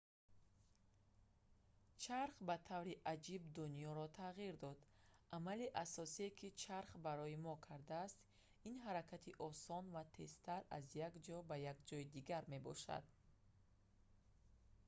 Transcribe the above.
чарх ба таври аҷиб дунёро тағйир дод амали асосие ки чарх барои мо кардааст ин ҳаракати осон ва тезтар аз як ҷо ба як ҷои дигар мебошад